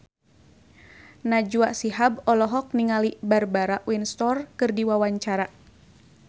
Najwa Shihab olohok ningali Barbara Windsor keur diwawancara